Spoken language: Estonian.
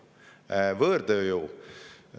Võõrtööjõud.